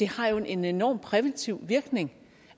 har en enorm præventiv virkning